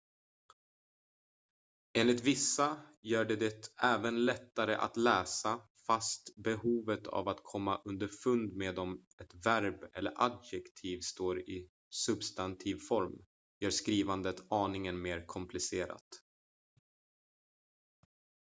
enligt vissa gör det det även lättare att läsa fast behovet av att komma underfund med om ett verb eller adjektiv står i substantivform gör skrivandet aningen mer komplicerat